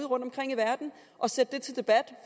rundtomkring i verden og sætte dem til debat